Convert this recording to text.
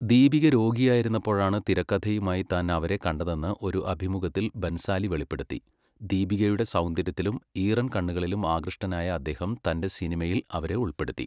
ദീപിക രോഗിയായിരുന്നപ്പോഴാണ് തിരക്കഥയുമായി താൻ അവരെ കണ്ടതെന്ന് ഒരു അഭിമുഖത്തിൽ ബൻസാലി വെളിപ്പെടുത്തി, ദീപികയുടെ സൗന്ദര്യത്തിലും ഈറൻ കണ്ണുകളിലും ആകൃഷ്ടനായ അദ്ദേഹം തന്റെ സിനിമയിൽ അവരെ ഉൾപ്പെടുത്തി.